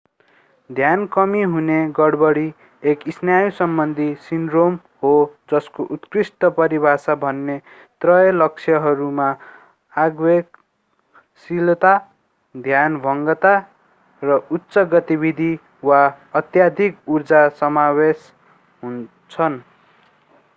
ध्यान कमी हुने गडबडी एक स्नायु समबन्धी सिन्ड्रोम हो जसको उत्कृष्ट परिभाषा दिने त्रय लक्षणहरूमा आवेगशीलता ध्यानभङ्गता र उच्च गतिविधि वा अत्यधिक ऊर्जा समावेश हुन्छन्